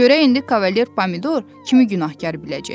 Görək indi Kavalier pomidor kimi günahkar biləcək.